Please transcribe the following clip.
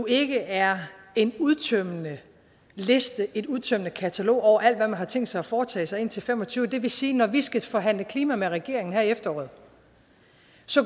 ikke er en udtømmende liste et udtømmende katalog over alt hvad man har tænkt sig at foretage sig indtil fem og tyve det vil sige at når vi skal forhandle klima med regeringen her i efteråret